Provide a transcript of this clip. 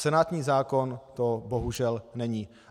Senátní zákon to bohužel není.